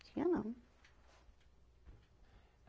Tinha não.